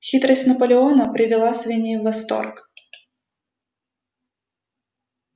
хитрость наполеона привела свиней в восторг